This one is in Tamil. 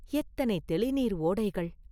எத்தனை தௌிநீர் ஓடைகள்?